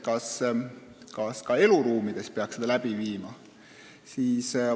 Ja nimelt: kas ka eluruumides peaks selle mõõtmise läbi viima?